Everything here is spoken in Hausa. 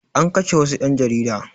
An kashe wassu ƴan jarida